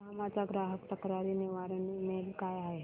Yamaha चा ग्राहक तक्रार निवारण ईमेल काय आहे